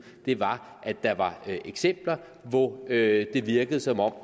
var at der var eksempler hvor det virkede som om